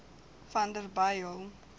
vanderbijl